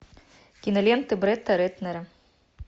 кинолента бретта рэтнера